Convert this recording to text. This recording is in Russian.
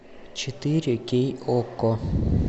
четыре кей окко